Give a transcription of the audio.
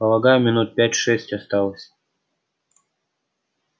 полагаю минут пять-шесть осталось